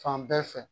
Fan bɛɛ fɛ